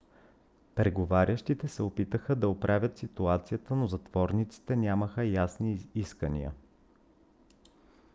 преговарящите се опитаха да оправят ситуацията но затворниците нямаха ясни искания